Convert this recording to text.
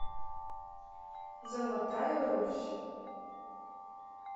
золотая русь